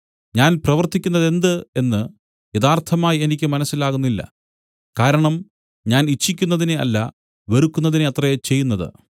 ഞാൻ പ്രവർത്തിക്കുന്നതെന്തെന്ന് യഥാർത്ഥമായി എനിക്ക് മനസ്സിലാകുന്നില്ല കാരണം ഞാൻ ഇച്ഛിക്കുന്നതിനെ അല്ല വെറുക്കുന്നതിനെ അത്രേ ചെയ്യുന്നതു